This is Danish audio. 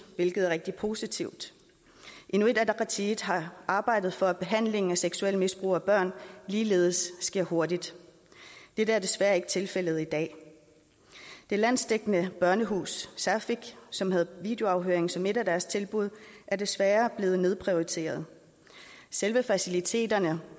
hvilket er rigtig positivt inuit ataqatigiit har arbejdet for at behandling af seksuelt misbrugte børn ligeledes sker hurtigt dette er desværre ikke tilfældet i dag det landsdækkende børnehus saaffik som havde videoafhøring som et af deres tilbud er desværre blevet nedprioriteret selve faciliteterne